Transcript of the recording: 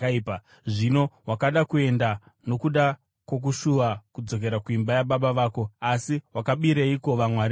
Zvino wakada kuenda nokuda kwokushuva kudzokera kuimba yababa vako. Asi wakabireiko vamwari vangu?”